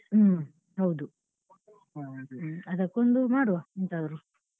ಹ್ಮ್ ಹೌದು ಅದಕ್ಕೊಂದು ಮಾಡ್ವ ಎಂತಾದ್ರೂ.